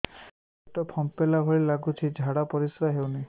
ପେଟ ଫମ୍ପେଇଲା ଭଳି ଲାଗୁଛି ଝାଡା ପରିସ୍କାର ହେଉନି